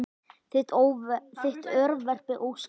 Þitt örverpi Óskar.